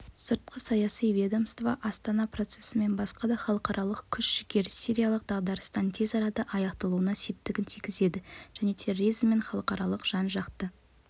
сыртқы саяси ведомство астана процесі мен басқа да халықаралық күш-жігер сириялық дағдарыстың тез арада аяқталуына септігін тигізеді және терроризммен халықаралық жан-жақты